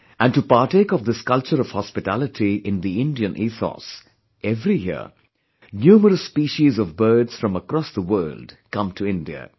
And to partake of this culture of hospitality in the Indian ethos, every year, numerous species of birds from across the world come to India